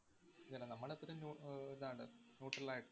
അതന്നെ നമ്മളത്രേം നു~ ആഹ് ഇതാണ് neutral ആയിട്ട്